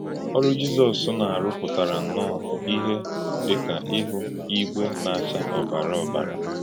Ọ̀rụ́ Jizọ́s na-arù pụtara nnọọ́ ìhè dị ka ihu ígwé na-achá ọ́bàrà ọ́bàrà.